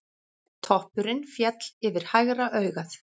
Toppurinn féll yfir hægra augað.